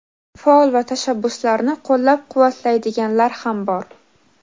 Faol va tashabbuslarni qo‘llab-quvvatlaydiganlar ham bor.